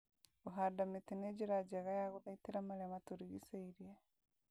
Kũhanda mĩtĩ nĩ njĩra njega ya gũthaitĩra marĩa matũrigicĩirie